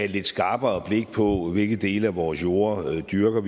lidt skarpere blik på hvilke dele af vores jorde vi dyrker